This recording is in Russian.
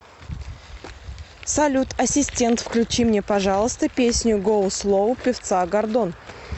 салют ассистент включи мне пожалуйста песню гоу слоу певца гордон